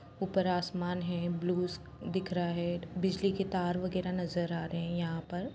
ऊपर आसमान है ब्लूज दिख रहा है बिजली की तार वगैरा नजर आ रहे हैं यहां पर।